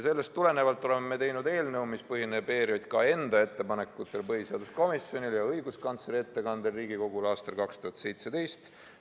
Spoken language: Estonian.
Sellest tulenevalt oleme teinud eelnõu, mis põhineb ERJK enda ettepanekutel põhiseaduskomisjonile ja õiguskantsleri ettekandel Riigikogule aastal 2017.